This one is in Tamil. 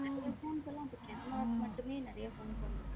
நிறைய phones எல்லாம் இப்போ camara மட்டுமே நிறை phones வந்திருக்கு